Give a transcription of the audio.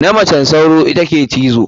Na majen sauro ita ke cizo.